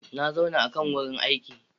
Na zauna a kan wurin aiki.